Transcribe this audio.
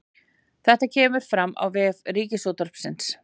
Þetta kemur fram á vef Ríkisútvarpsins